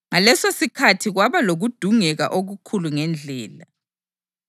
Ngalesosikhathi kwaba lokudungeka okukhulu ngeNdlela.